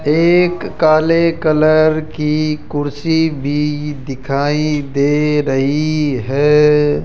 एक काले कलर की कुर्सी भी दिखाई दे रही है।